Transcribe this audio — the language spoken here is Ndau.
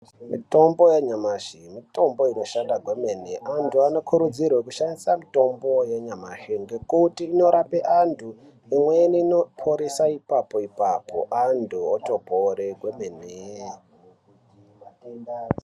Mitombo yanyamashi, mitombo inoshanda kwemene. Antu anokurudzirwe kushandisa mutombo yanyamashi ngokuti inorapa antu, imweni inoponesa ipapo ipapo antu otopore kwemene.